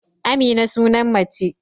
Amina sunan mace